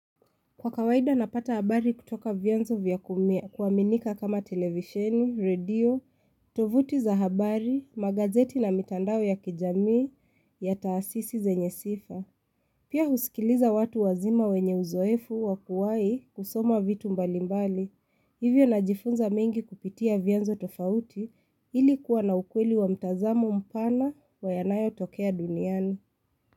Kwa kawaida napata habari kutoka vyenzo vya kuaminika kama televisheni, radio, tovuti za habari, magazeti na mitandao ya kijamii ya taasisi zenye sifa. Pia husikiliza watu wazima wenye uzoefu wakuwahi kusoma vitu mbalimbali. Hivyo najifunza mengi kupitia vyenzo tofauti ili kuwa na ukweli wa mtazamo mpana kwa yanayotokea duniani.